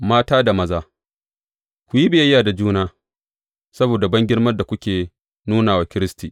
Mata da maza Ku yi biyayya da juna saboda bangirmar da kuke nuna wa Kiristi.